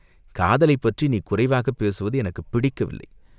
காதலைப்பற்றி நீ குறைவாகப் பேசுவது எனக்குப் பிடிக்கவில்லை.